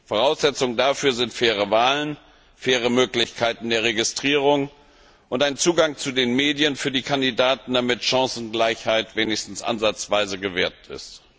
Voraussetzung dafür sind faire Wahlen, faire Möglichkeiten der Registrierung und ein Zugang zu den Medien für die Kandidaten, damit Chancengleichheit wenigstens ansatzweise gewahrt ist.